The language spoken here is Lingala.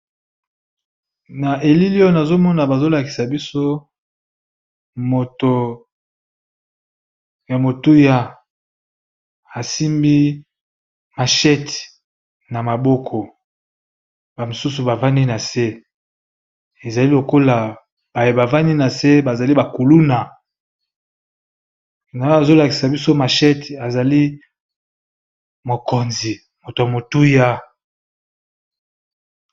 Na elili oyo nazomona bazolakisa biso moto ya motuya asimbi machette na maboko ba mosusu bavandi na se ezali lokola baye bavandi na se bazali bakuluna na oyo bazolakisa biso mashet azali mokonzi moto ya motuya.